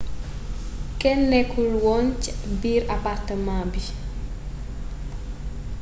kenn nekkul oon ci biir apartamaa bi